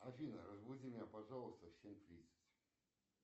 афина разбуди меня пожалуйста в семь тридцать